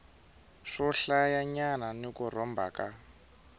swohlayanyana ni ku rhomba ka